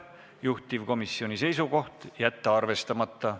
Juhtivkomisjoni seisukoht: jätta arvestamata.